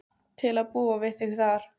Til að búa við þig þar.